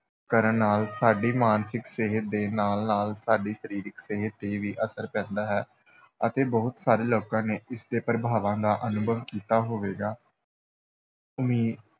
ਕਰਨ ਨਾਲ ਸਾਡੀ ਮਾਨਸਿਕ ਸਿਹਤ ਦੇ ਨਾਲ-ਨਾਲ ਸਾਡੀ ਸਰੀਰਕ ਸਿਹਤ ‘ਤੇ ਵੀ ਅਸਰ ਪੈਂਦਾ ਹੈ, ਅਤੇ ਬਹੁਤ ਸਾਰੇ ਲੋਕਾਂ ਨੇ ਇਸ ਦੇ ਪ੍ਰਭਾਵਾਂ ਦਾ ਅਨੁਭਵ ਕੀਤਾ ਹੋਵੇਗਾ ਉਮੀ